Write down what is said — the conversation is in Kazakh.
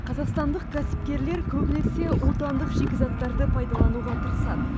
қазақстандық кәсіпкерлер көбінесе отандық шикізаттарды пайдалануға тырысады